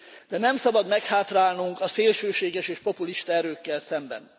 De nem szabad meghátrálnunk a szélsőséges és populista erőkkel szemben.